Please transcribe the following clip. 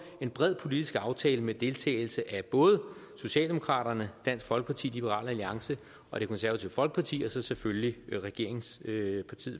en bred politisk aftale med deltagelse af både socialdemokraterne dansk folkeparti liberal alliance og det konservative folkeparti og så selvfølgelig regeringspartiet